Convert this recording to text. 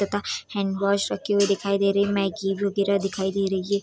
तथा hand wash रखे हुए दिखाई दे रहे है मैगी वगेरा दिखाई दे रही है।